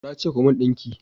Na ce ku mun dinki!